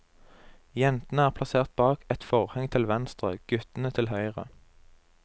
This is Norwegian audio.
Jentene er plassert bak et forheng til venstre, guttene til høyre.